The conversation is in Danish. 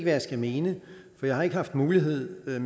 jeg skal mene for jeg har ikke haft mulighed